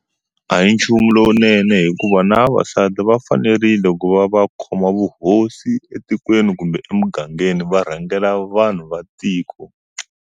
A hi nchumu lowunene hikuva na vavasati va fanerile ku va va khoma vuhosi etikweni kumbe emugangeni va rhangela vanhu va tiko.